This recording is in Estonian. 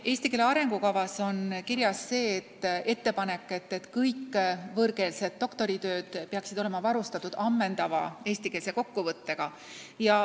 Eesti keele arengukavas on kirjas ettepanek, et kõik võõrkeelsed doktoritööd peaksid olema varustatud ammendava eestikeelse kokkuvõttega.